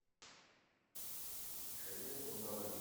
михаил бондарович